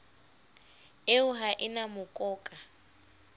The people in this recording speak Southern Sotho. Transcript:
eo ha e na mokoka